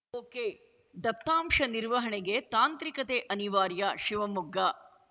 ಒಕೆದತ್ತಾಂಶ ನಿರ್ವಹಣೆಗೆ ತಾಂತ್ರಿಕತೆ ಅನಿವಾರ್ಯ ಶಿವಮೊಗ್ಗ